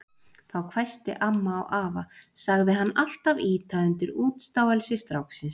Þá hvæsti amma á afa, sagði hann alltaf ýta undir útstáelsi stráksins.